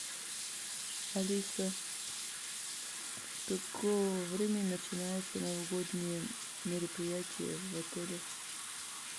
алиса с какого времени начинаются новогодние мероприятия в отеле